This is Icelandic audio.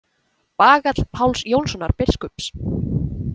Bagall Páls Jónssonar biskups.